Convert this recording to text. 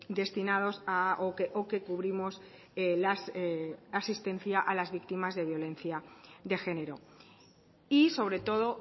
destinados o que cubrimos las asistencia a las víctimas de violencia de género y sobre todo